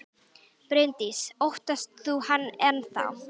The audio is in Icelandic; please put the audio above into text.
Bryndís: Óttast þú hann enn þá?